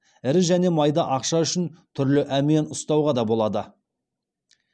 ірі және майда ақша үшін түрлі әмиян ұстауға да болады